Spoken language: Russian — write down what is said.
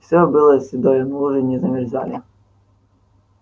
все было седое но лужи не замерзали